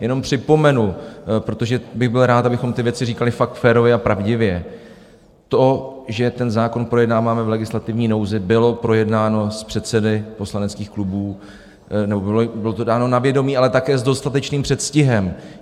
Jenom připomenu, protože bych byl rád, abychom ty věci říkali fakt férově a pravdivě: to, že ten zákon projednáváme v legislativní nouzi, bylo projednáno s předsedy poslaneckých klubů nebo bylo to dáno na vědomí, ale také s dostatečným předstihem.